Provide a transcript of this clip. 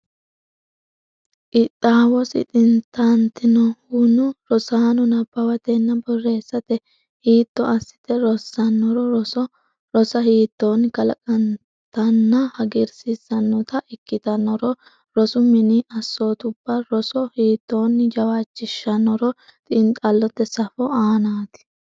Qixxaawosi xintantinohuno, rosaano nabbawatenna borreessate hiitto assite rossannoro, rosa hiittoonni kalanqennitanna hagiirsiissannota ikkitannoronna, rosu mini assootubba roso hiittoonni jawaachishshannoro xiinxallote safo aanaati.